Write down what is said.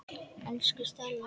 Elsku Stella.